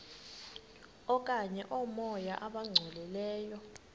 okanye oomoya abangcolileyo